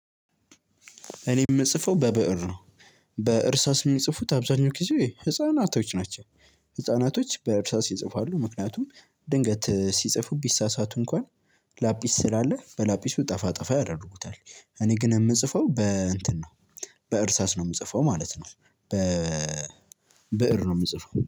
እኔ የምጽፈው በብእር ነው። በእርሳስ የሚጽፉት አብዛኛው ጊዜ ህፃናቶች ናቸው። ህፃናቶች በእርሳስ ይፅፋሉ ምክንያቱም ድንገት ሲጽፉ ቢሳሳቱ እንኳን ላጲስ ሳላለ በላጲሱ ጠፋ ጠፋ ያደርጉታል። እኔ ግን ምጽፈው በእንትን ነው። በእርሳስ ነው የምጽፈው ማለት ነው። በ ብእር ነው የምጽፈው